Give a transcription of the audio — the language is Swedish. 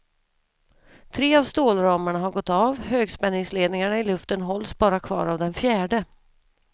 Tre av stålramarna har gått av, högspänningsledningarna i luften hålls bara kvar av den fjärde.